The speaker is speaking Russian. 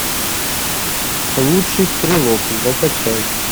лучший стрелок закачай